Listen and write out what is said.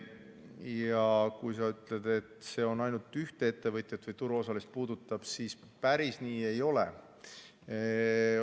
Ja kui sa ütled, et see on ainult ühte ettevõtjat või turuosalist puudutav, siis päris nii ei ole.